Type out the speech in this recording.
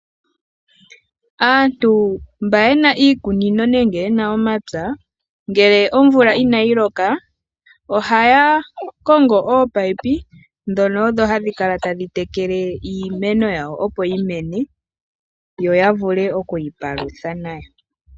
Aantu mba ye na iikunino nenge yena omapya, ngele omvula inayi loka ohaa kongo oopaipi ndhono odho hadhi tekele iimeno yawo opo yi mene opo ya vule okwiipalutha nayo.